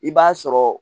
I b'a sɔrɔ